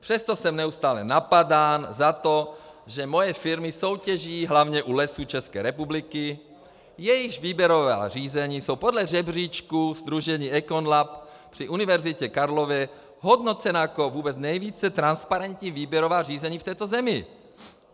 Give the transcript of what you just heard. Přesto jsem neustále napadán za to, že moje firmy soutěží hlavně u Lesů České republiky, jejichž výběrová řízení jsou podle žebříčku sdružení EconLab při Univerzitě Karlově hodnocena jako vůbec nejvíce transparentní výběrová řízení v této zemi.